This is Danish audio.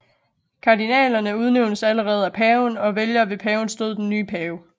Kardinalerne udnævnes alene af paven og vælger ved pavens død den nye pave